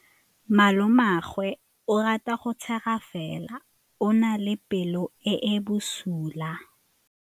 Malomagwe o rata go tshega fela o na le pelo e e bosula.